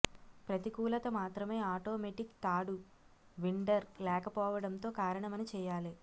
ప్రతికూలత మాత్రమే ఆటోమేటిక్ తాడు విన్డర్ లేకపోవడంతో కారణమని చేయాలి